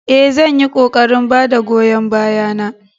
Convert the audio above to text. Ee, zan yi ƙoƙarin ba da goyon baya na